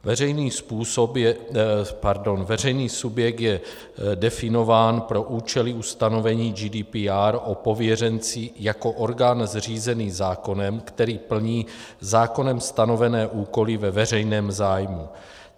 Veřejný subjekt je definován pro účely ustanovení GDPR o pověřenci jako orgán zřízený zákonem, který plní zákonem stanovené úkoly ve veřejném zájmu.